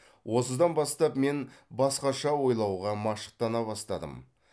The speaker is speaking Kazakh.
осыдан бастап мен басқаша ойлауға машықтана бастадым